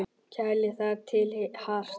Kælið þar til hart.